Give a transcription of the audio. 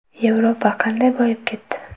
Yevropa qanday boyib ketdi?.